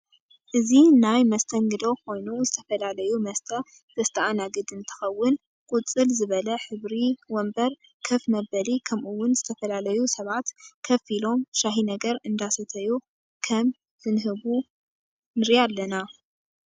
እዚ ናይ መስተንግዶ ኮይኑ ዝተፈላላዩ መስተ ዝስተኣናግድ እንትከውን ቁፅል ዝበለ ሕብሪ ወንበር ከፍ መበል ከምኡ እውን ዝተፈላላዩ ሰባት ከፍ ኢሎም ሻሂ ነገር እዳሰተዩ ከም ዝንህቡ ንርኢ ኣለና።